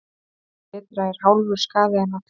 Betra er hálfur skaði en allur.